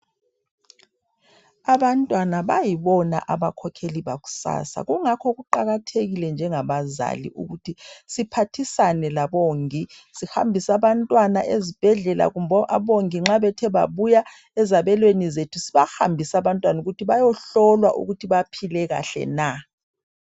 Abantwana bayibona abakhokheli bakusasa, kungakho kuqakathekile njengabazali, ukuthi siphathisane labongi. Sihambise abantwana ezibhedlela. Kumbe abongi nxa bethe babuya ezabelweni zethu, sibahambise abantwana ukuthi bayohlolwa ukuthi baphile kuhle na?